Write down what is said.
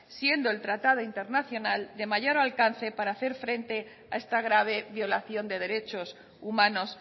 siendo el tratado internacional de mayor alcance para hacer frente a esta grave violación de derechos humanos